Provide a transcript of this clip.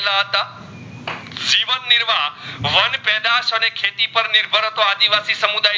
પરંતુ આદિવાસી સમુદાયે